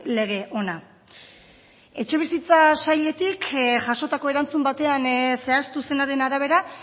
lege ona etxebizitza sailetik jasotako erantzun batean zehaztu zenaren arabera